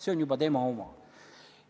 See on juba tema oma.